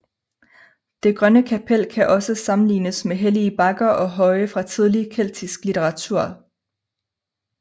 Det Grønne Kapel kan også sammenlignes med hellige bakker og høje fra tidlig keltisk litteratur